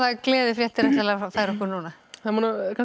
gleðifréttir ætlarðu að færa okkur núna það eru nú